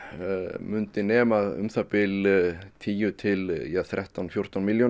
myndi nema um það bil tíu til þrettán fjórtán milljónum